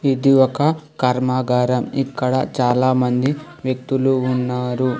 ఇది ఒక కర్మాగారం ఇక్కడ చాలామంది వ్యక్తులు ఉన్నారు.